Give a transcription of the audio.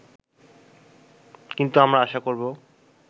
কিন্তু আমরা আশা করব